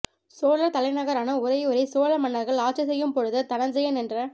சோழா் தலைநகரான உறையூரை சோழ மன்னா்கள் ஆட்சி செய்யும் பொழுது தனஞ்செயன் என்ற